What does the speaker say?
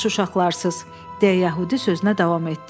Yaxşı uşaqlarsız, deyə yəhudi sözünə davam etdi.